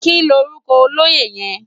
Kilórúkò ólóyé yèn?